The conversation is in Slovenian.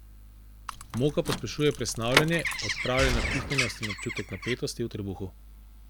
Moka pospešuje presnavljanje, odpravlja napihnjenost in občutek napetosti v trebuhu.